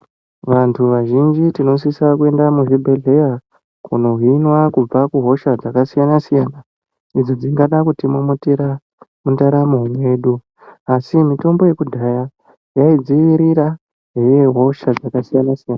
Vantu vazhinji tinosisa kuenda kuzvibhedhleya kunohinwa kubva kuhosha dzakasiyana siyana idzo dzingada kutimomotera mundaramo mwedu. Asi mitombo yakudhaya yaidzivirira hosha dzakasiyana siyana.